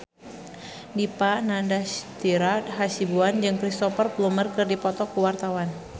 Dipa Nandastyra Hasibuan jeung Cristhoper Plumer keur dipoto ku wartawan